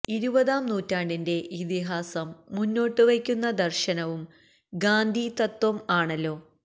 ഇരുപതാം നൂറ്റാണ്ടിന്റെ ഇതിഹാസം മുന്നോട്ടുവയ്ക്കുന്ന ദര്ശനവും ഗാന്ധി തത്ത്വം ആണല്ലോ